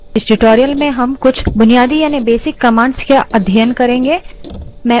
इस tutorial में हम कुछ basic commands का अध्ययन करेंगे